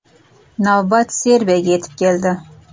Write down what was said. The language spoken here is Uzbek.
Navbat Serbiyaga yetib keldi.